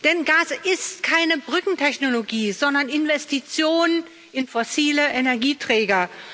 Denn Gas ist keine Brückentechnologie, sondern Investition in fossile Energieträger.